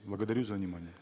благодарю за внимание